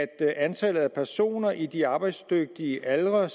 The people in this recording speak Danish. at antallet af personer i de arbejdsdygtige aldre